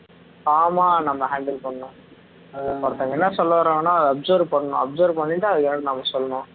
calm ஆ நம்ம handle பண்ணணும் ஒருத்தங்க என்ன சொல்ல வாராங்கன்னு அதை observe பண்ணணும் observe பண்ணிட்டு அதுக்கு அப்புறம் நாம சொல்லணும்